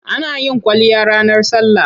Ana yin kwalliya ranar sallah.